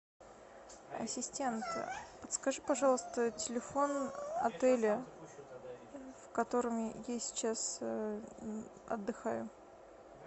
ассистент подскажи пожалуйста телефон отеля в котором я сейчас отдыхаю